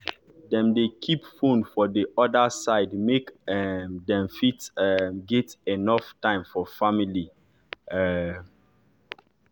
dem dey keep fone for d orda side make um dem fit um get enuff time for family um